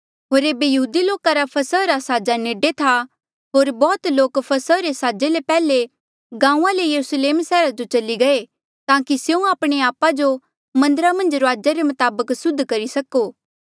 होर एेबे यहूदी लोका रा फसहा रा साजा नेडे था होर बौह्त लोक फसहा रे साजे ले पैहले गांऊँआं ले यरुस्लेम सैहरा जो चली गये ताकि स्यों आपणे आपा जो मन्दरा मन्झ रूआजा रे मताबक सुध करी सको